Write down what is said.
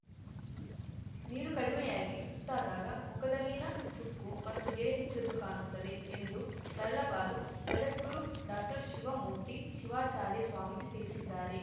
ನೀರು ಕಡಿಮೆಯಾಗಿ ಸುಸ್ತಾದಾಗ ಮುಖದಲ್ಲಿನ ಸುಕ್ಕು ಮತ್ತು ಗೆರೆ ಹೆಚ್ಚು ಎದ್ದು ಕಾನುತ್ತದೆ ಎಂದು ತರಳಬಾಲು ಜಗದ್ಗುರು ಡಾಕ್ಟರ್ ಶಿವಮೂರ್ತಿ ಶಿವಾಚಾರ್ಯ ಸ್ವಾಮೀಜಿ ತಿಳಿಸಿದ್ದಾರೆ